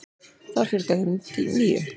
Þar fjölgaði þeim um níu.